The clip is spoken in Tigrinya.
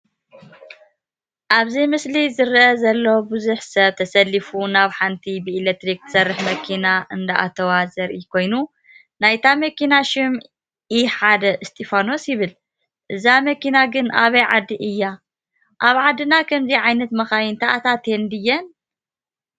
አብዚ ምስሊ ዝረአ ዘሎ ብዙሕ ሰብ ተሰሊፉ ናብ ሓንቲ ብኤለክትሪክ ትሰርሕ መኪና እንዳአተወ ዘርኢ ኮይኑ ናይታ መኪና ሹም ኢሓደ እስጢፋኖስ ይብል፡፡ እዛ መኪና ግን አበይ ዓዲ እያ? አብ ዓድና ከምዚ ዓይነት መካይን ተአታትየን ድየን?